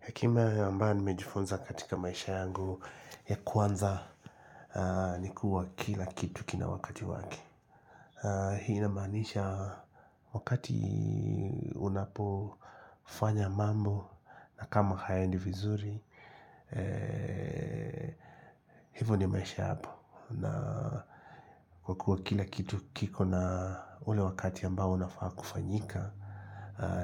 Hekima ambayo nimejifunza katika maisha yangu ya kwanza ni kuwa kila kitu kina wakati wake. Hii inamaanisha wakati unapofanya mambo na kama hayaendi vizuri, hivyo ndio maisha hapo. Na kwa kuwa kila kitu kiko na ule wakati ambao unafaa kufanyika